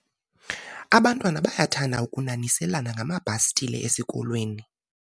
abantwana bayathanda ukunaniselana ngamabhastile esikolweni